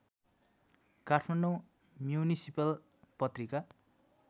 Kathmandu municipal Patrika